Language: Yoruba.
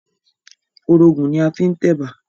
Orógùn ni a fi ń tẹ̀bà